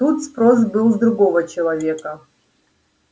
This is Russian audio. тут спрос был с другого человека